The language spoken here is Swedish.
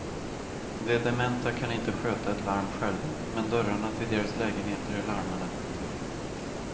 De dementa kan inte sköta ett larm själva, men dörrarna till deras lägenheter är larmade.